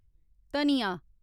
धनिया